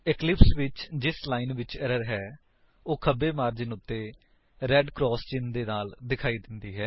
Eclipse ਵਿੱਚ ਜਿਸ line ਵਿੱਚ ਏਰਰ ਹੈ ਉਹ ਖੱਬੇ ਮਾਰਜਿਨ ਉੱਤੇ ਰੇਡ ਕਰਾਸ ਚਿੰਨ ਦੇ ਨਾਲ ਵਿਖਾਈ ਦੇਵੇਗੀ